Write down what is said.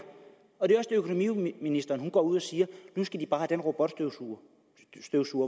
økonomiministeren går ud og siger at nu skal de bare have den robotstøvsuger